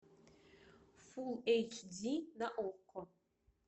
фулл эйч ди на окко